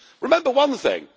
Remember one thing.